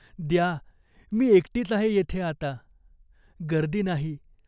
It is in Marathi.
द्या. मी एकटीच आहे येथे आता. गर्दी नाही.